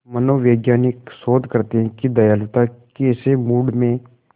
मनोवैज्ञानिक शोध करते हैं कि दयालुता कैसे मूड में